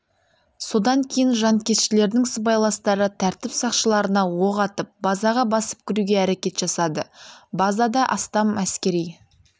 содан кейін жанкештілердің сыбайластары тәртіп сақшыларына оқ атып базаға басып кіруге әрекет жасады базада астам әскери